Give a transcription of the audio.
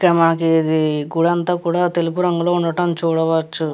ఇక్కడ మాకిది గుడి అంతా కూడ తెలుపు రంగులో ఉండటం చూడవచ్చు.